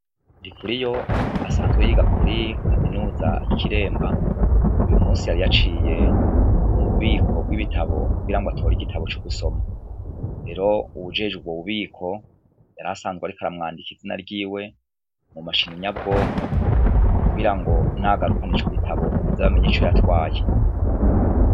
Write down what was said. Ndikuriyo asanzwe yiga kuri kaminuza yikiremba uyu munsi yari yaciye mu mubiko bwibi tabo kugirango atore igitabo co gusoma rero uwujejwe ubwo bu biko yarasanzwe ariko aramwandika izina ryiwe mu mashini nyabwonko kugirango nagarukana ico gitabo baze bamenye ico yatwaye.